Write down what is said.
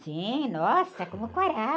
Sim, nossa, como quarava.